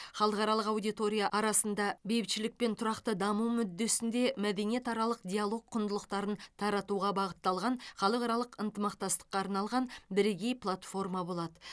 халықаралық аудитория арасында бейбітшілік пен тұрақты даму мүддесінде мәдениетаралық диалог құндылықтарын таратуға бағытталған халықаралық ынтымақтастыққа арналған бірегей платформа болады